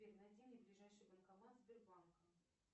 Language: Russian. сбер найди мне ближайший банкомат сбербанка